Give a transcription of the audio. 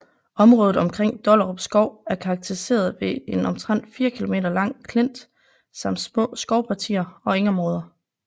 Området omkring Dollerupskov er karakteriseret ved en omtrent 4 km lang klint samt små skovpartier og engområder